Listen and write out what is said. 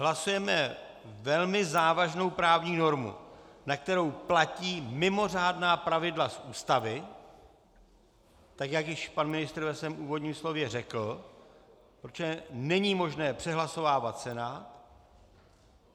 Hlasujeme velmi závažnou právní normu, na kterou platí mimořádná pravidla z Ústavy, tak jak již pan ministr ve svém úvodním slově řekl, protože není možné přehlasovávat Senát.